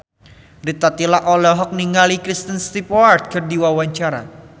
Rita Tila olohok ningali Kristen Stewart keur diwawancara